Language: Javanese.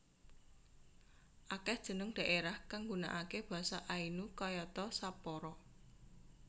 Akèh jeneng dhaerah kang nggunakaké basa Ainu kayata Sapporo